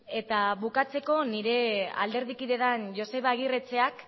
eta bukatzeko nire alderdi kide den joseba agirretxeak